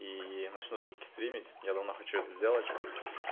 и начну всё-таки стримить я давно хочу это сделать